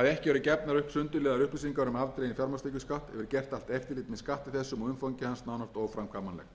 að ekki eru gefnar upp sundurliðaðar upplýsingar um afdreginn fjármagnstekjuskatt hefur gert allt eftirlit með skatti þessum og umfangi hans nánast óframkvæmanlegt verði tillaga að umræddu ákvæði lögfest mun það einnig